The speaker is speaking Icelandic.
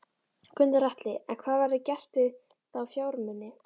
Gunnar Atli: En hvað verður gert við þá fjármuni?